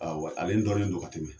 Ale dɔnnen don ka tɛmɛ